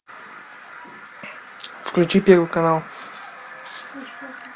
включи первый канал